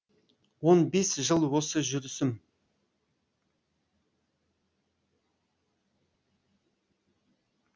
он бес жыл осы жүрісім